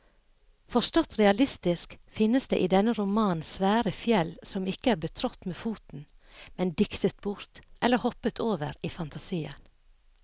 Forstått realistisk finnes det i denne romanen svære fjell som ikke er betrådt med foten, men diktet bort eller hoppet over i fantasien.